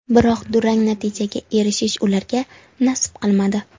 Biroq durang natijaga erishish ularga nasib qilmadi.